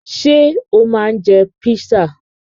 Ṣé o máa ń jẹ písà?